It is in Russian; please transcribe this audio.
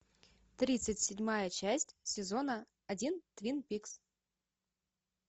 тридцать седьмая часть сезона один твин пикс